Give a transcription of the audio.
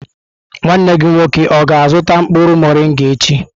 Nwanne gị nwoke ọ ga-azuta mkpuru morịnga echi?